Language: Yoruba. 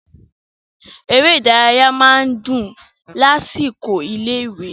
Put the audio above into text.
Eré ìdárayá máa ń dùn lásìkò ilé-ìwé.